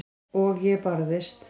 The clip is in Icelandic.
Og ég barðist.